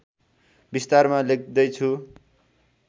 विस्तारमा लेख्दै छु